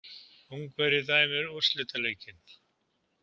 Ungverji dæmir úrslitaleikinn